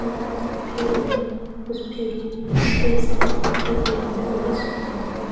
बड़ा-सा फील्ड है उस फील्ड पे सड़क पे एक डॉगी सोया हुआ --